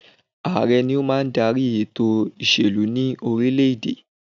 Ààrẹ ni ó máa ń darí ètò ìṣèlú ní orílẹ̀ èdè.